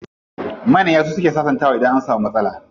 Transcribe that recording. Manya suke sasantawa idan an samu matsala.